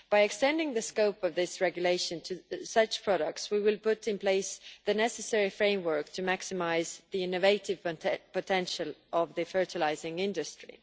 By extending the scope of this regulation to such products, we will put in place the necessary framework to maximise the innovative potential of the fertiliser industry.